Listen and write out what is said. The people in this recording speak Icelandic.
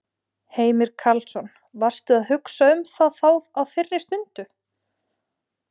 Heimir Karlsson: Varstu að hugsa um það þá á þeirri stundu?